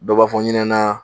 Dɔ b'a fɔ n ɲinɛ na